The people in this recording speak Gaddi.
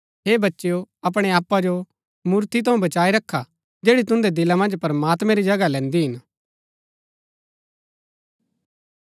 हे बच्चेओ अपणै आपा जो मूर्ति थऊँ बचाई रखा जैड़ी तुन्दै दिला मन्ज प्रमात्मैं री जगह लैन्दी हिन